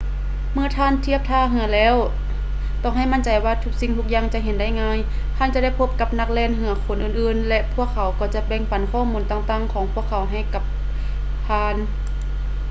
ເມື່ອທ່ານທຽບທ່າເຮືອແລ້ວຕ້ອງໃຫ້ໝັ້ນໃຈວ່າທຸກສິ່ງທຸກຢ່າງຈະເຫັນໄດ້ງ່າຍ ທ່ານຈະໄດ້ພົບກັບນັກແລ່ນເຮືອຄົນອື່ນໆ ແລະ ພວກເຂົາກໍຈະແບ່ງປັນຂໍ້ມູນຕ່າງໆຂອງພວກເຂົາໃຫ້ກັບທ່ານ